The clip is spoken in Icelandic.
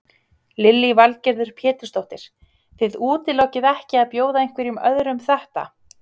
Lillý Valgerður Pétursdóttir: Þið útilokið ekki að bjóða einhverjum öðrum þetta?